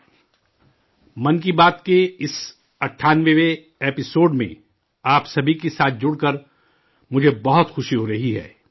'من کی بات' کے اس 98ویں ایپی سوڈ میں آپ سبھی کے ساتھ جڑ کر مجھے بہت خوشی ہو رہی ہے